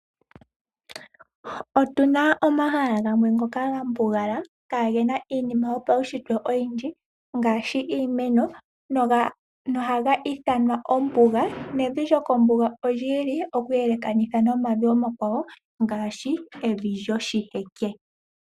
Otuna omahala gamwe ngoka gambugala, kaagena iinima yo pawushitwe oyindji ngaashi iimeno noha ga ithanwa ombuga. Nevi lyokombuga olyi ili okuyelekanitha nomavi omakwawo ngaashi evi lyoshiheke.